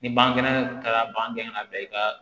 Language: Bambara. Ni bange taara ban gɛrɛ i ka